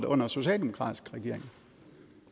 under socialdemokratisk regering